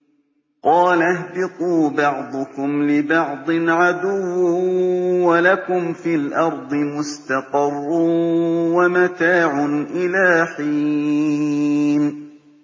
قَالَ اهْبِطُوا بَعْضُكُمْ لِبَعْضٍ عَدُوٌّ ۖ وَلَكُمْ فِي الْأَرْضِ مُسْتَقَرٌّ وَمَتَاعٌ إِلَىٰ حِينٍ